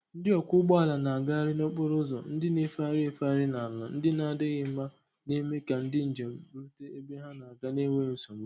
Ndị ọkwọ ụgbọ ala na-agagharị n'okporo ụzọ ndị na-efegharị efegharị na ala ndị na-adịghị mma, na-eme ka ndị njem rute ebe ha na-aga n'enweghị nsogbu.